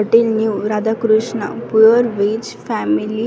hotel new Radhakrishna pure veg family --